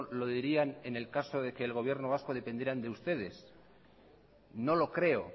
lo dirían en el caso de que el gobierno vasco dependieran de ustedes no lo creo